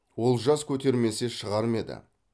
олжас көтермесе шығар ма еді